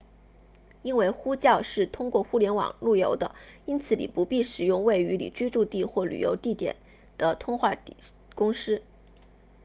因为呼叫是通过互联网路由的因此你不必使用位于你居住地或旅行地点的通话公司